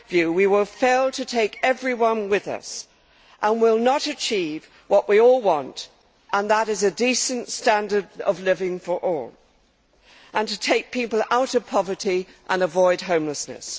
we will fail to take everyone with us and will not achieve what we all want a decent standard of living for all and to take people out of poverty and avoid homelessness.